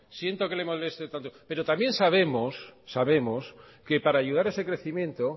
siento que le moleste tanto pero también sabemos que para ayudar a ese crecimiento